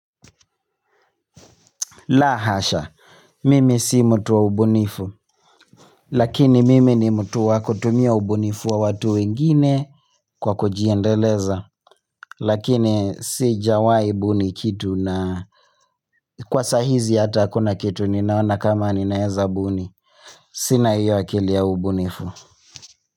La hasha mimi si mutu wa ubunifu. Lakini mimi ni mutu wa kutumia ubunifu wa watu wengine kwa kujiendeleza lakini sijawahi buni kitu na kwa sahizi hata hakuna kitu ninaona kama ninaweza buni. Sina hiyo akili ya ubunifu.